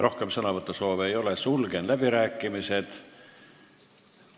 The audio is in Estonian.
Rohkem sõnavõtusoove ei ole, sulgen läbirääkimised.